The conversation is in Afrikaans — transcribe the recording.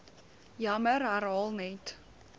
jammer herhaal net